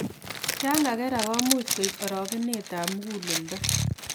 Ya ngagerak komuch koib arogenet ab muguleledo